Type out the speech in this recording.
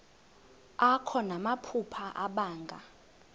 akho namaphupha abanga